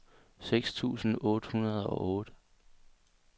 seks tusind otte hundrede og otte